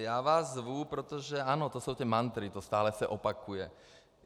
A já vás zvu, protože, ano, to jsou ty mantry, to se stále opakuje.